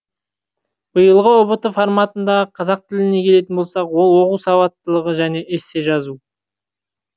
биылғы ұбт форматындағы қазақ тіліне келетін болсақ ол оқу сауаттылығы және эссе жазу